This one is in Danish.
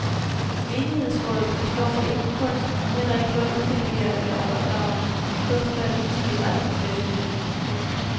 Menighedsrådet forstår sig ikke på kunst og heller ikke på at uddelegere eller overdrage kunstvalg til de rette professionelle. punktum